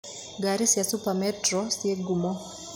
Gari cia super metro ci ngumo.